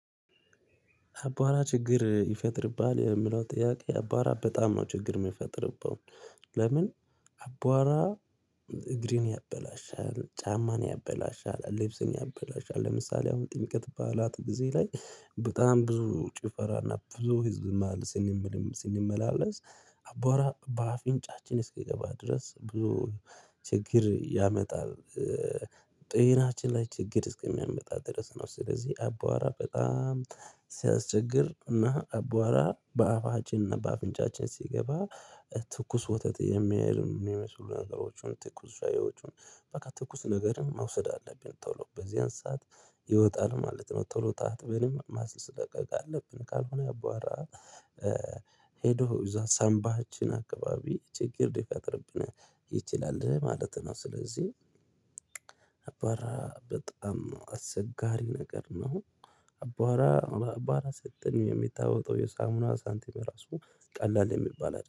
አቧራ ችግር ይፈጥርብሃል የምለው ጥያቄ አባራ በጣም ነው ችግር የሚፈጥርብን። ለምን? አቧራ እግሬን ያበላሻል ጫማን ያበላሻል ልብስን ያበላሻል ለምሳሌ አሁን ጥንቅት ባላት ጊዜ ላይ በጣም ብዙ ጭፈራና ብዙ ህዝብ ማል ስንመላለስ አባባ በአፍንጫችን እስኪገባ ድረስ ብዙ ችግር ያመጣል። ጤናችን ላይ ችግር እስከሚያመጣ ድረስ ነው። ስለዚህ አቧዋራ በጣም እና አቧራ በአፋችን እና በአፍንጫችን ሲገባ ትኩስ ወተት የሚሉ የሚመስሉ ነገሮችን ትኩስ ሻያዎችን በቃ ትኩስ ነገርም መውሰድ አለብን ቶሎ በዚህን ሰዓት ይወጣል ማለት ነው። ቶሎ ታጥበንም ማስለቀቅ አለብን። ካልሆነ ያቧራ ሄዶ እዛ ሰንባችን አካባቢ ችግር ይፈጥርብናል ይችላል ማለት ነው። ስለዚህ አቧራ በጣም አስቸጋሪ ነገር ነው። አቧራ አቧራ ሰጠን የሚታወቀው የሳሙና ሳንቲም ራሱ ቀላል የሚባል